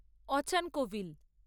অচান কভিল